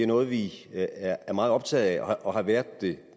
noget vi er meget optaget af og har været